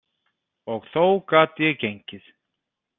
Og þó gat ég gengið.